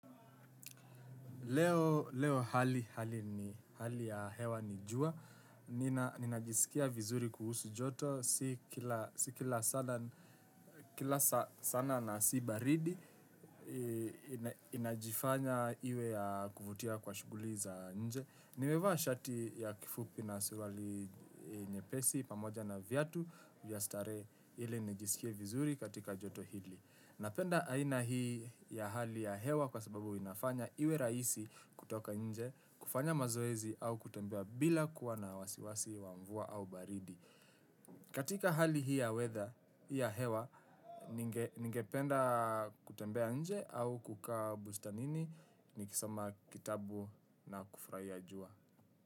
Leo hali ya hewa ni jua. Nina jisikia vizuri kuhusu joto. Si kila saa na si baridi. Inajifanya iwe ya kuvutia kwa shughuli za nje. Nimevaa shati ya kifupi na surali nyepesi pamoja na viatu. Vya starehe ili nijisikie vizuri katika joto hili. Napenda aina hii ya hali ya hewa kwa sababu inafanya iwe rahisi kutoka nje, kufanya mazoezi au kutembea bila kuwa na wasiwasi wa mvua au baridi. Katika hali hii ya weather, hii ya hewa, ningependa kutembea nje au kukaa bustanini ni kisoma kitabu na kufurahia jua.